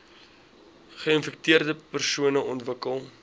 geinfekteerde persone ontwikkel